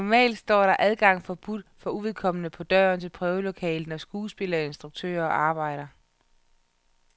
Normalt står der adgang forbudt for uvedkommende på døren til prøvelokalet, når skuespillere og instruktører arbejder.